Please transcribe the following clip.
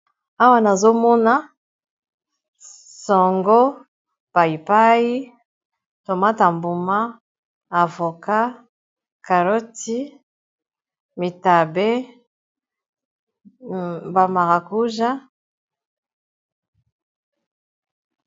Awa nazomona songo, paipai, tomate ya mbuma, avocat, carrotte, bitabe, bamaracuja.